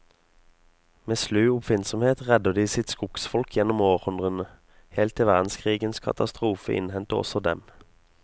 Med slu oppfinnsomhet redder de sitt skogsfolk gjennom århundrene, helt til verdenskrigens katastrofe innhenter også dem.